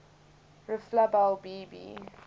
reflabel b b